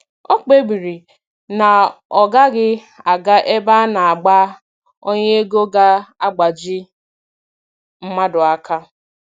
O kpebiri na ọ gaghị aga ebe a na - agba ọnya ego ga-agbaji mmadụ aka